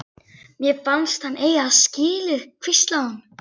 Mér fannst hann eiga þetta skilið- hvíslaði hún.